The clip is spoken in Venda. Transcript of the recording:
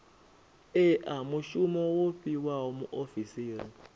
ea mushumo wo fhiwaho muofisiri